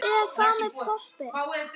En hvað með poppið?